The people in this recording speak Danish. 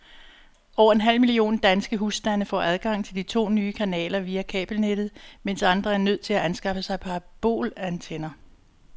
Over en halv million danske husstande får adgang til de to nye kanaler via kabelnettet, mens andre er nødt til at anskaffe sig parabolantenner.